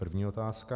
První otázka.